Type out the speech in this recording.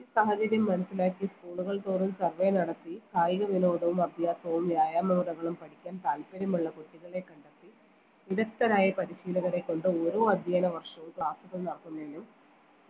ഈ സാഹചര്യം മനസ്സിലാക്കി school കൾ തോറും survey നടത്തി കായിക വിനോദവും അഭ്യാസവും വ്യായാമ മുറകളും പഠിക്കാൻ താല്പര്യമുള്ള കുട്ടികളെ കണ്ടെത്തി വിദഗ്ദ്ധരായ പരിശീലകരെ കൊണ്ട് ഓരോ അധ്യയന വർഷവും class ഉകൾ നടത്തുന്നതിനും